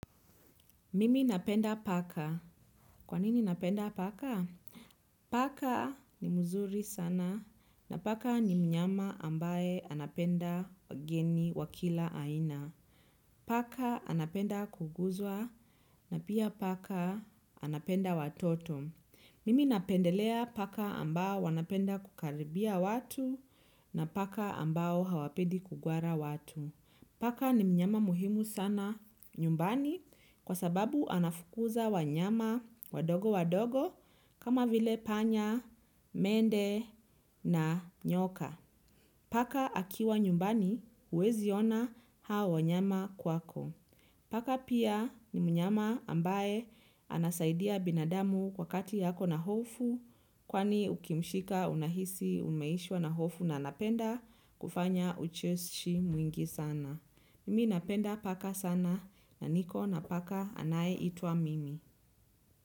Mimi napenda paka. Kwa nini napenda paka? Paka ni mzuri sana, na paka ni mnyama ambaye anapenda wageni wa kila aina. Paka anapenda kuguzwa na pia paka anapenda watoto. Mimi napendelea paka ambao wanapenda kukaribia watu na paka ambao hawapendi kugwara watu. Paka ni mnyama muhimu sana nyumbani kwa sababu anafukuza wanyama wadogo wadogo kama vile panya, mende na nyoka. Paka akiwa nyumbani huwezi ona hao wanyama kwako. Paka pia ni mnyama ambaye anasaidia binadamu wakati ako na hofu kwani ukimshika unahisi umeishiwa na hofu na anapenda kufanya ucheshi mwingi sana. Mimi napenda paka sana, na niko na paka anayeitwa Mimi.